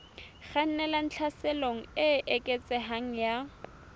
kgannelang tlhaselong e eketsehang ya